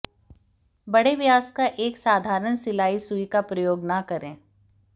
बड़े व्यास का एक साधारण सिलाई सुई का प्रयोग न करें